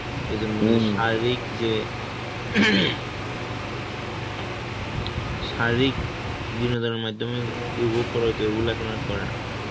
এইজন্য শারীরিক যে শারীরিক বিনোদনের মাইধ্যমে করাইতো, ওইগুলো এখন আর করে না.